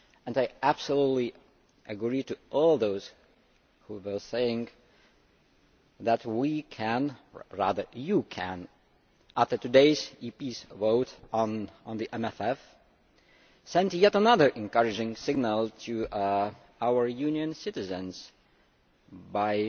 I absolutely agree with all those who were saying that we can or rather you can, after today's EP vote on the MFF send yet another encouraging signal to our Union's citizens by